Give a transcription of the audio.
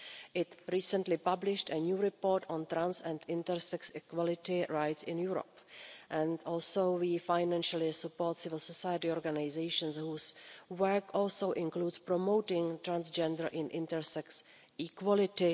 It recently published a new report on trans and intersex equality rights in Europe. We also financially support civil society organisations whose work also includes promoting transgender and intersex equality.